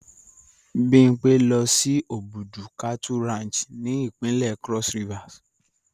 Bimpe lo si Obudu Cattle Ranch ni ipinle Cross Rivers